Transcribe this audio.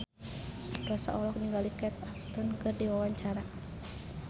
Rossa olohok ningali Kate Upton keur diwawancara